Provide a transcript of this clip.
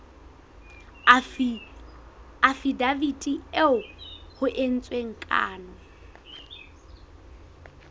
afidaviti eo ho entsweng kano